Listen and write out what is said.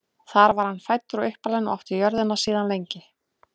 þar var hann fæddur og uppalinn og átti jörðina síðan lengi